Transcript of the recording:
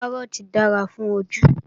Kárọ́ọ̀tì dára fún ojú